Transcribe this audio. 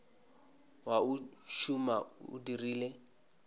wa o tšhuma o dirile